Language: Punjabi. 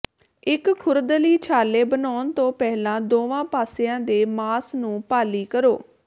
ਇੱਕ ਖੁਰਦਲੀ ਛਾਲੇ ਬਣਾਉਣ ਤੋਂ ਪਹਿਲਾਂ ਦੋਵਾਂ ਪਾਸਿਆਂ ਦੇ ਮਾਸ ਨੂੰ ਭਾਲੀ ਕਰੋ